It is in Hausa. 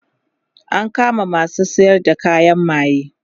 an kama masu sayar da kayan maye